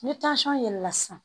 Ni yɛlɛnna sisan